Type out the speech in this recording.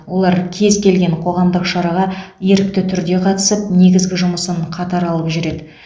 олар кез келген қоғамдық шараға ерікті түрде қатысып негізгі жұмысын қатар алып жүреді